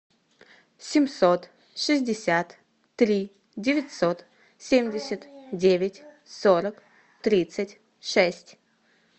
семьсот шестьдесят три девятьсот семьдесят девять сорок тридцать шесть